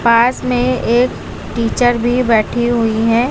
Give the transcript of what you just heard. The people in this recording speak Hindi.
पास में एक टीचर भी बैठी हुई हैं।